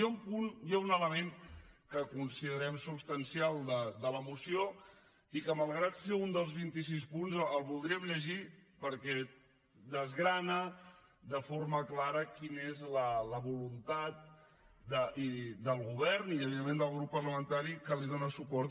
hi ha un punt hi ha un element que considerem substancial de la moció i que malgrat que és un dels vinti sis punts el voldríem llegir perquè desgrana de forma clara quina és la voluntat del govern i evidentment del grup parlamentari que li dóna suport